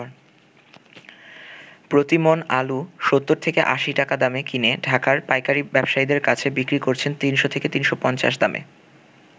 প্রতিমণ আলু ৭০ থেকে ৮০ টাকা দামে কিনে ঢাকার পাইকারী ব্যবসায়ীদের কাছে বিক্রি করছেন ৩০০ থেকে ৩৫০ দামে।